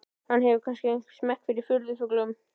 Hann hefur kannski einhvern smekk fyrir furðufuglum.